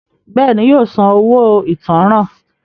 Bẹ́ẹ̀ni, yóò san “ owó ìtanràn ”.